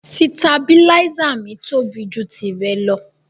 Sìtàbílísa mi tóbi jù tìrẹ lọ.